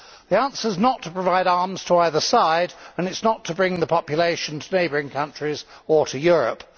The answer is not to provide arms to either side, and it is not to bring the population to neighbouring countries or to Europe.